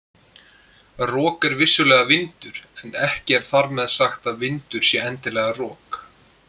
Rok er vissulega vindur en ekki er þar með sagt að vindur sé endilega rok.